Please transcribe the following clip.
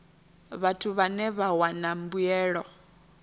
vhathu vhane vha wana mbuelo